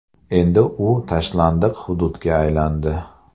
Endi u tashlandiq hududga aylandi.